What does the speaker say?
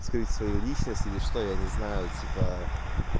скрыть свою личность или что я не знаю типа